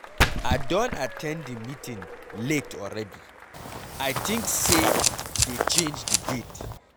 I don at ten d the meeting late already. I think say dey change the date.